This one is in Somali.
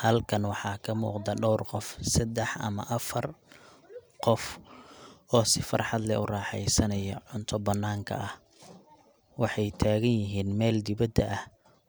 Xalkan waxa kamugda door gof sadex ama afar gof, oo si farxadleh oo raxeysano cunta bananka ah, waxay taganyixin mel diwadha ah,